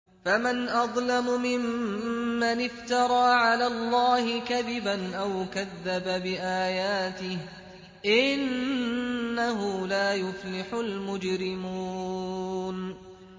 فَمَنْ أَظْلَمُ مِمَّنِ افْتَرَىٰ عَلَى اللَّهِ كَذِبًا أَوْ كَذَّبَ بِآيَاتِهِ ۚ إِنَّهُ لَا يُفْلِحُ الْمُجْرِمُونَ